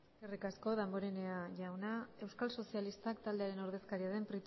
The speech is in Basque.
eskerrik asko damborenea jauna euskal sozialistak taldearen ordezkaria den